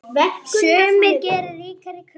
Sumir gera ríkari kröfur.